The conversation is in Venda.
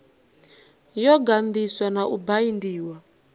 yo ganḓiswa na u baindiwa